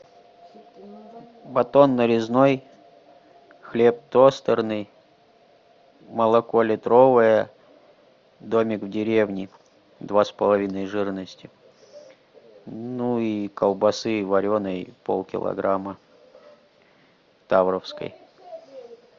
батон нарезной хлеб тостерный молоко литровое домик в деревне два с половиной жирности ну и колбасы вареной полкилограмма тавровской